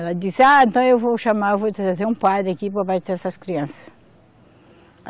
Ela disse, ah, então eu vou chamar, vou trazer um padre aqui para batizar essas crianças.